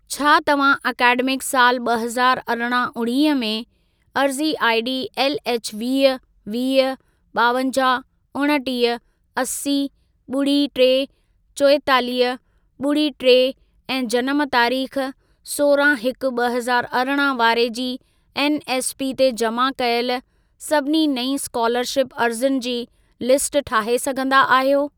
छा तव्हां एकेडमिक साल ॿ हज़ारु अरिड़हं उणिवीह में, अर्ज़ी आईडी एलएच वीह, वीह, ॿावंजाहु, उणटीह, असी, ॿुड़ी टे, चोएतालीह, ॿुड़ी टे ऐं जनम तारीख़ सोरहां हिकु ॿ हज़ारु अरिड़हं वारे जी एनएसपी ते जमा कयल सभिनी नईं स्कोलरशिप अर्ज़ियुनि जी लिस्ट ठाहे सघंदा आहियो?